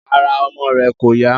Ara ọmọ rẹ̀ kò yá